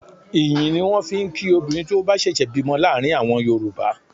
Ìyìn ni wọ́n fi ń kí obìnrin tí ó bá ṣẹ̀ṣẹ̀ bímọ láàrin àwọn Yorùbá.